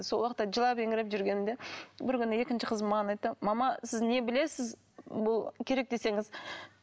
сол уақытта жылап еңіреп жүргенімде бір күні екінші қызым маған айтты мама сіз не білесіз бұл керек десеңіз